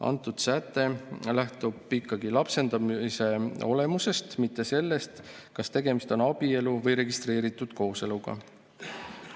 Antud säte lähtub ikkagi lapsendamise olemusest, mitte sellest, kas tegemist on abielu või registreeritud kooseluga.